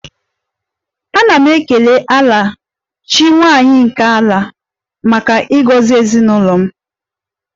Ana m ekele 'Ala' chi nwanyị nke ala maka ịgọzi ezinụlọ m